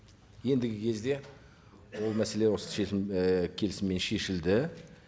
ендігі кезде ол мәселе осы шешім і келісіммен шешілді